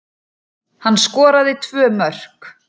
Hann skoraði tvö mörk